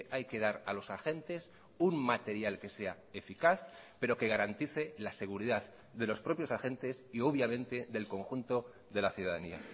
hay que dar a los agentes un material que sea eficaz pero que garantice la seguridad de los propios agentes y obviamente del conjunto de la ciudadanía